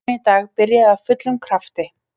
Leikurinn í dag byrjaði af fullum krafti.